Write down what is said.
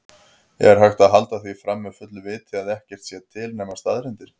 Er hægt að halda því fram með fullu viti að ekkert sé til nema staðreyndir?